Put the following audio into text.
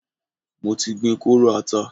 Mo ti gbin kóóró ata.